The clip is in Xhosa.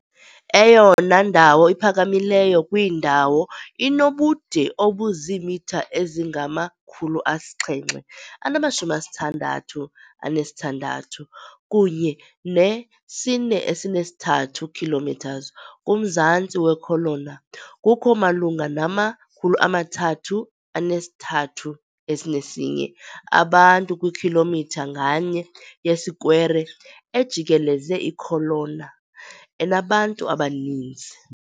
Eyona ndawo iphakamileyo kwindawo inobude obuziimitha ezingama-766 kunye ne-4.3 km kumzantsi weColonna. Kukho malunga nama-331 abantu kwikhilomitha nganye yesikwere ejikeleze iColonna enabantu abaninzi.